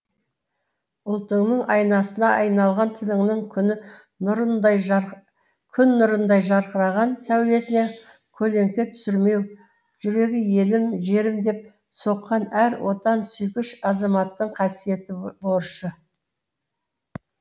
ұлтыңның айнасына айналған тіліңнің күні күн нұрындай жарқыраған сәулесіне көлеңке түсірмеу жүрегі елім жерім деп соққан әр отансүйгіш азаматтың қасиетті борышы